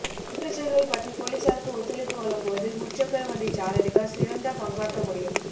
குற்றச் செயல்கள் பற்றிப் பொலிஸாருக்கு ஒத்துழைப்பு வழங்குவதில் முச்சக்கர வண்டிச் சாரதிகள் சிறந்த பங்காற்ற முடியும்